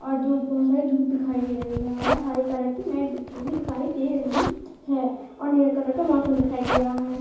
और धुप बोहोत सारी धुप दिखाई दे रही और हरे कलर की मेट बिछी हुई दिखाई दे रही है। और नीले कलर का मौसम दिखाई दे रहा है।